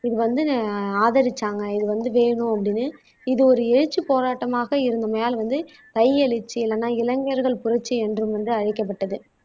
இது வந்து ஆதரிச்சாங்க இது வந்து வேணும் அப்படின்னு இது ஒரு எழுச்சி போராட்டமாக இருந்தமையால் வந்து எழுச்சி இல்லனா இளைஞர்கள் புரட்சி என்றும் வந்து அழைக்கப்பட்டது